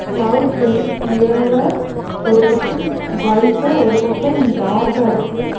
Clouds வந்து கிளியரா ஒரு பக்கம் ஒயிட்டா ஒரு பக்கம் டார்க்காருக்கு .